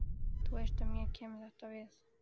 Þú veist að mér kemur þetta við.